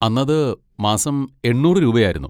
അന്നത് മാസം എണ്ണൂറ് രൂപയായിരുന്നു.